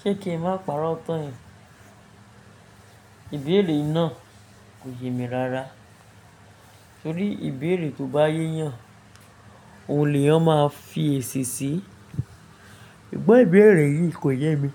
Ṣé kí i má pa'rọ́ tán. Ìbéèrè náà kò yẹ mi rara torí ìbéèrè tó bá yé yàn, òun lèyan máa fi èsì sí i. Ẹ̀gbọ́n ìbéèrè yìí kò yẹ mi.